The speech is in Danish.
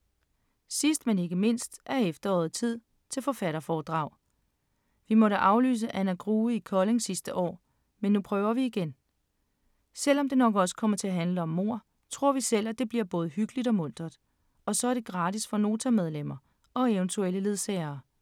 Sidst, men ikke mindst er efteråret tid til forfatterforedrag. Vi måtte aflyse Anna Grue i Kolding sidste år, men nu prøver vi igen. Selv om det nok også kommer til at handle om mord, tror vi selv, at det bliver både hyggeligt og muntert, og så er det gratis for Nota-medlemmer og eventuelle ledsagere.